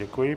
Děkuji.